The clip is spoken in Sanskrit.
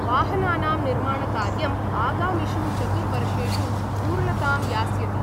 वाहनानां निर्माणकार्यं आगामिषु चतुर्वर्षेषु पूर्णतां यास्यति।